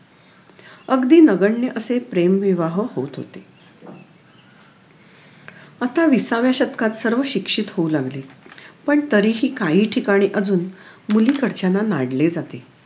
अगदी नगण्य असे विवाह होत होते आता विसाव्या शतकात सर्व शिक्षित होऊ लागले पण तरीही काही ठिकाणी अजून मुलीकडच्यांना नाडले जाते